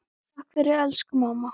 Takk fyrir allt, elsku mamma.